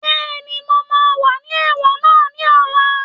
Bẹ́ẹ̀ni, mo máa wà ní ẹ̀wọ̀n náà ní ọ̀la